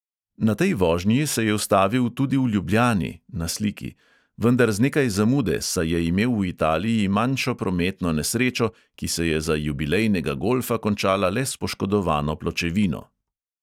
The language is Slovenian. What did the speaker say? Na tej vožnji se je ustavil tudi v ljubljani (na sliki), vendar z nekaj zamude, saj je imel v italiji manjšo prometno nesrečo, ki se je za jubilejnega golfa končala le s poškodovano pločevino.